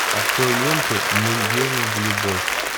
открой ленту мы верим в любовь